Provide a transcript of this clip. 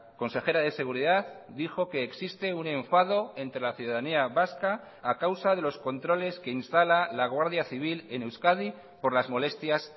consejera de seguridad dijo que existe un enfado entre la ciudadanía vasca a causa de los controles que instala la guardia civil en euskadi por las molestias